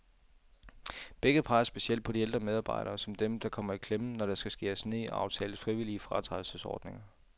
Begge peger specielt på de ældre medarbejdere, som dem, der kommer i klemme, når der skal skæres ned og aftales frivillige fratrædelsesordninger.